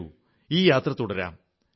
വരൂ ഈ യാത്ര തുടരാം